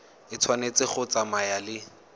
e tshwanetse go tsamaya le